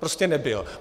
Prostě nebyl.